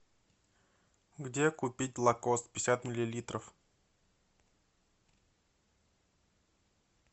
где купить лакост пятьдесят миллилитров